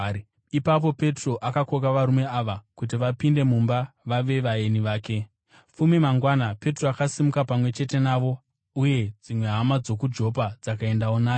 Ipapo Petro akakoka varume ava kuti vapinde mumba vave vaeni vake. Petro mumba maKoniriasi Fume mangwana Petro akasimuka pamwe chete navo, uye dzimwe hama dzokuJopa dzakaendawo naye.